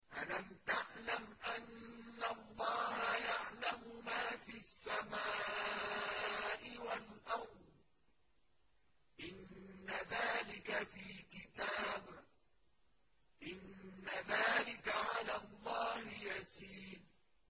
أَلَمْ تَعْلَمْ أَنَّ اللَّهَ يَعْلَمُ مَا فِي السَّمَاءِ وَالْأَرْضِ ۗ إِنَّ ذَٰلِكَ فِي كِتَابٍ ۚ إِنَّ ذَٰلِكَ عَلَى اللَّهِ يَسِيرٌ